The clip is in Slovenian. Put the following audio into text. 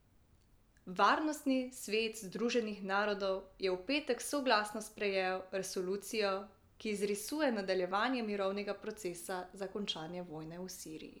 Varnostni svet Združenih narodov je v petek soglasno sprejel resolucijo, ki izrisuje nadaljevanje mirovnega procesa za končanje vojne v Siriji.